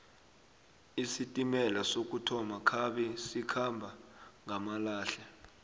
isitimela sokuthoma khabe sikhamba ngamalehle